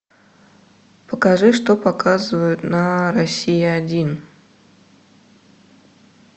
покажи что показывают на россия один